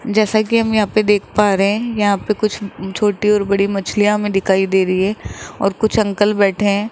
जैसा कि हम यहां पे देख पा रहे हैं यहां पर कुछ छोटी और बड़ी मछलिया हमे दिखाई दे रही है और कुछ अंकल बैठे हैं।